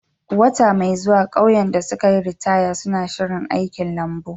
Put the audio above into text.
Wata mai zuwa, ƙauyen da suka yi ritaya suna shirin aikin lambun.